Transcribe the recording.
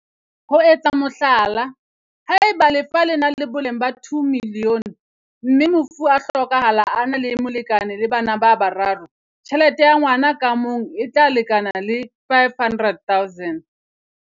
Ho etsa mohlala, haeba lefa le na le boleng ba R2 milione mme mofu a hlokahala a na le molekane le bana ba bararo, tjhelete ya ngwa na ka mong e tla lekana le R500 000.